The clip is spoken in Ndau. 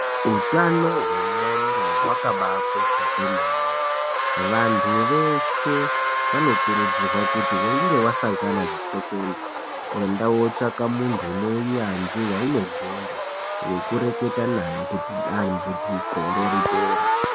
Utano hwe ndxondo hwakaba kosha kwemene. Vantu veshe vanokurudzirwa kuti weinge wasangana ne tsekwende enda wotsvaka muntu unounyanzvi waukogonda wekureketa naye kutindambudziko ro ripere.